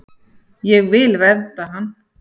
Ég vil vernda hann.